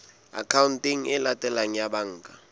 akhaonteng e latelang ya banka